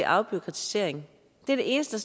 afbureaukratisering det er det eneste